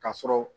Ka sɔrɔ